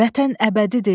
Vətən əbədidir.